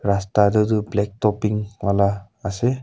rasta tu tu Black top pink wala ase.